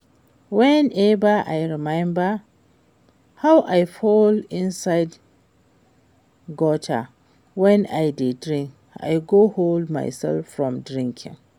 Whenever I remember how I fall inside gutter wen I dey drink I go hold myself from drinking